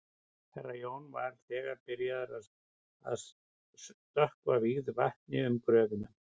Herra Jón var þegar byrjaður að stökkva vígðu vatni um gröfina.